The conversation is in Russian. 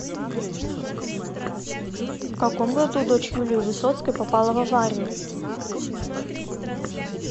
в каком году дочь юлии высоцкой попала в аварию